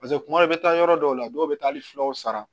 Paseke kuma dɔ i bɛ taa yɔrɔ dɔw la dɔw bɛ taa hali fulaw sara